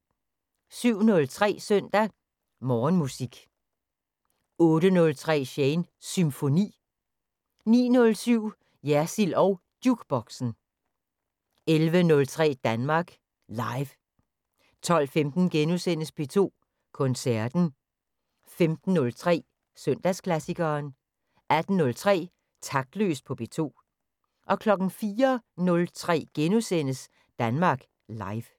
07:03: Søndag Morgenmusik 08:03: Shanes Symfoni 09:07: Jersild og Jukeboxen 11:03: Danmark Live 12:15: P2 Koncerten * 15:03: Søndagsklassikeren 18:03: Taktløs på P2 04:03: Danmark Live *